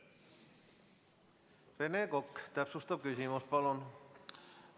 Rene Kokk, täpsustav küsimus, palun!